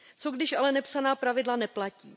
Co když ale nepsaná pravidla neplatí?